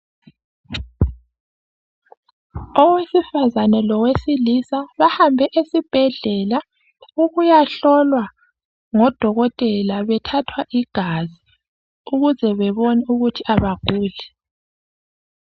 Owesifazane lowesilisa bahambe esibhedlela ukuyahlolwa ngodokotela bethwathwa igazi ukuze bebone ukuthi abaguli.